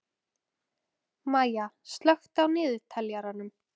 Maya, slökktu á niðurteljaranum.